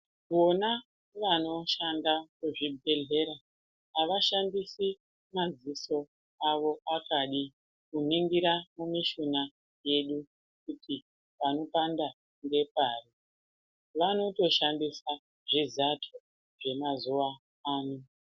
Vona vanoshanda muzvibhehlera ,avashandisi maziso avo kuningira mumishina yedu kuti kuti panopanda ngepari. Vanotoshandisa zvizato zvemazuva ano.